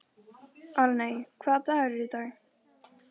Arney, hvaða dagur er í dag?